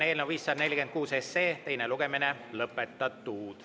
Eelnõu 546 teine lugemine on lõpetatud.